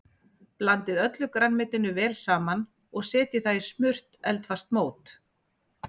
Blandið öllu grænmetinu vel saman og setjið það í smurt eldfast mót.